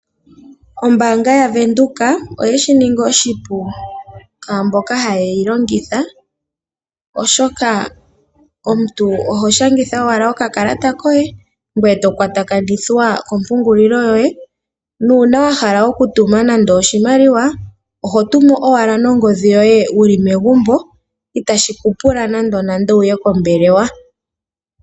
Ombaanga yaVenduka oye shi ninga oshipu kwaa mboka haya longitha ombaanga ndjoka, oshoka omuntu oho shangitha ashike okakalata koye, ngoye to kwatakanithwa komapungulilo yoye. Ngele owa hala okutuma oshimaliwa, oho tuma ashike nongodhi yoye wuli megumbo. Ihashi pula omuntu a ye kombelewa.